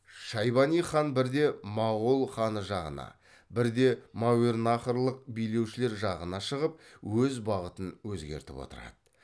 шайбани хан бірде моғол ханы жағына бірде мәуереннахрлық билеушілер жағына шығып өз бағытын өзгертіп отырады